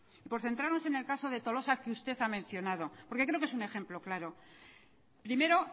por centrarnos en el caso de tolosa que usted ha mencionado porque creo que es un ejemplo claro primero